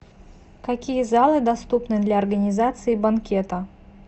какие залы доступны для организации банкета